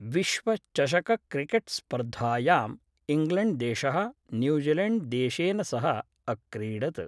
विश्वचषकक्रिकेट्स्पर्धायां इङ्ग्लेण्ड्देश: न्यूजीलेण्ड्देशेन सह अक्रीडत्।